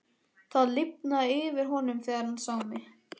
Það lifnaði yfir honum þegar hann sá mig.